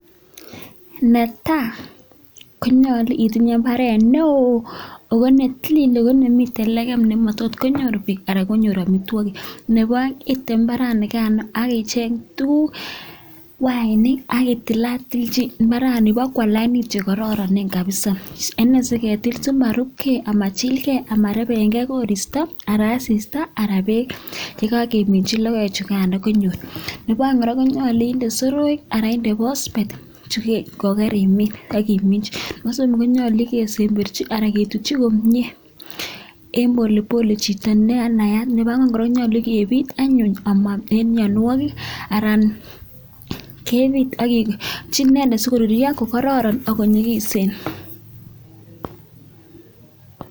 Netai konyalu itinye imbaret neon ako netilil ako nemiten legem nematot konyor bik anan konyor amitwagik Nebo aeng item imbaranigano akicheng tuguk wainik akitilatil imbarani bakwa lainit chekororonen kabisa Ene siketil simarubgei amachil gei amarebengei koristo Ara asista Ara bek yekageminchi logoek chugan anyun Nebo aeng konyalu inde soroik anan ko phosphate kogarimin agimin konyalu kosemberchi anan ketutyi komie en polepole chito nenayat nebo Gor genyalu kebit anyun ama en mianwagik Aran kebie icheken sikorurio kokararan akonyikisen